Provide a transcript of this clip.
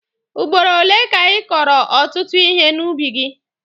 Ugboro ole ka ị kọrọ ọtụtụ ihe n'ubi gị?